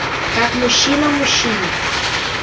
как мужчина мужчине